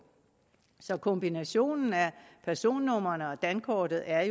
så kombinationen af personnumrene og dankortet er